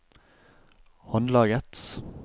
håndlaget